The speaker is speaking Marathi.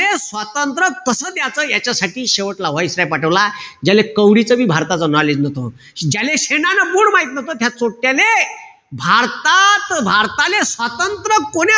स्वातंत्र्य कसं द्याच याच्यासाठी शेवटला viceroy पाठवला. ज्याले कवडीचं बी भारताचं knowledge नव्हतं. ज्याले शेणाले बूड माहित नव्हतं, त्या चोट्याले भारतात भारताले, स्वातंत्र्य कोण्या,